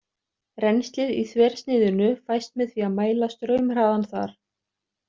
Rennslið í þversniðinu fæst með því að mæla straumhraðann þar.